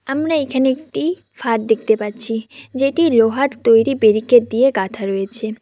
আমরা এখানে একটি ফাঁদ দেখতে পাচ্ছি যেটি লোহার তৈরি ব্যারিকেড দিয়ে গাঁথা রয়েছে।